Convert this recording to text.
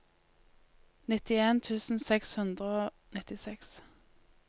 nittien tusen seks hundre og nittiseks